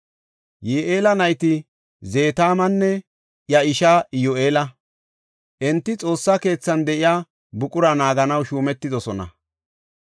Yi7eela nayti Zetaamanne iya ishaa Iyyu7eela; enti Xoossa keethan de7iya buqura naaganaw shuumetidosona.